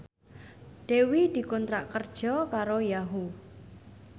Dewi dikontrak kerja karo Yahoo!